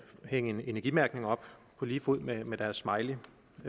hænge en energimærkning op på lige fod med med deres smiley